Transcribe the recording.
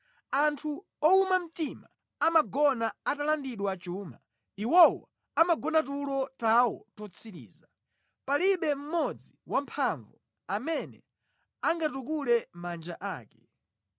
Anthu owuma mtima amagona atalandidwa chuma, Iwowo amagona tulo tawo totsiriza; palibe mmodzi wamphamvu amene angatukule manja ake.